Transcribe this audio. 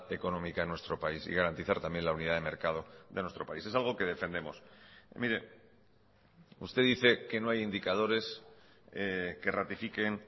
económica en nuestro país y garantizar también la unidad de mercado de nuestro país es algo que defendemos mire usted dice que no hay indicadores que ratifiquen